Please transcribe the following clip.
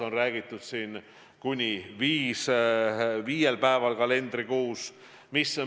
On räägitud kuni viiest päevast kalendrikuus.